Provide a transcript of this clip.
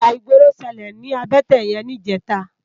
Íjà igbóró ṣëlé ni àbëtè yèn nijètá